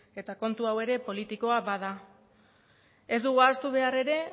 eta kontu hau politikoa bada ez dugu ahaztu behar ere